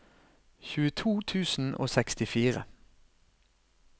tjueto tusen og sekstifire